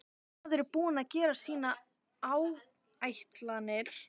Maður er búinn að gera sínar áætlanir.